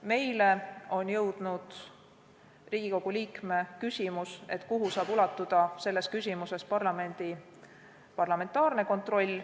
Meile on jõudnud Riigikogu liikme küsimus, kuhu saab selles küsimuses ulatuda parlamentaarne kontroll.